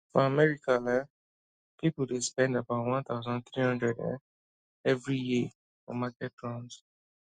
for america um people dey spend about one thousand three hundred um every year for market runs